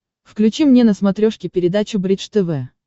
включи мне на смотрешке передачу бридж тв